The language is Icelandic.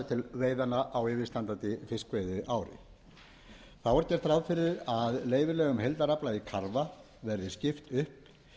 veiðanna á yfirstandandi fiskveiðiári þá er gert ráð fyrir að leyfilegum heildarafla í karfa verði skipt upp